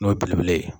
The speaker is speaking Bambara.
N'o ye belebele ye